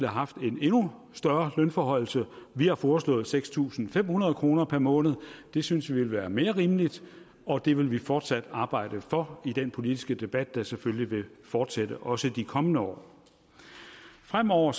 haft en endnu større lønforhøjelse vi har foreslået seks tusind fem hundrede kroner per måned det synes vi ville være mere rimeligt og det vil vi fortsat arbejde for i den politiske debat der selvfølgelig vil fortsætte også i de kommende år fremover